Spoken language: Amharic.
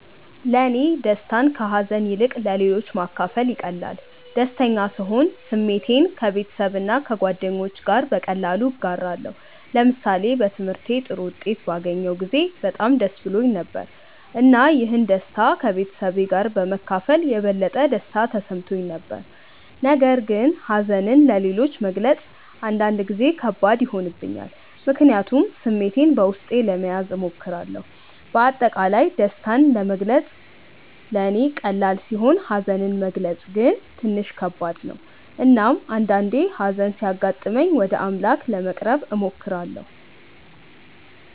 ለእኔ ደስታን ከሀዘን ይልቅ ለሌሎች ማካፈል ይቀላል። ደስተኛ ስሆን ስሜቴን ከቤተሰብና ከጓደኞቼ ጋር በቀላሉ እጋራለሁ። ለምሳሌ በትምህርቴ ጥሩ ውጤት ባገኘሁ ጊዜ በጣም ደስ ብሎኝ ነበር፣ እና ይህን ደስታ ከቤተሰቤ ጋር በመካፈል የበለጠ ደስታ ተሰምቶኝ ነበር። ነገር ግን ሀዘንን ለሌሎች መግለጽ አንዳንድ ጊዜ ከባድ ይሆንብኛል፣ ምክንያቱም ስሜቴን በውስጤ ለመያዝ እሞክራለሁ። በአጠቃላይ ደስታን መግለጽ ለእኔ ቀላል ሲሆን ሀዘንን መግለጽ ግን ትንሽ ከባድ ነው። እናም አንዳአንዴ ሀዘን ሲያጋጥመኝ ወደ አምላክ ለመቅረብ እሞክራለሁ።